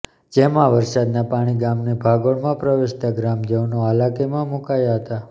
જેમાં વરસાદના પાણી ગામની ભાગોળમાં પ્રવેશતા ગ્રામજનો હાલાકીમાં મૂકાયા હતા